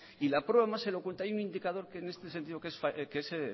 y la prueba más elocuente hay un indicador que en este sentido que es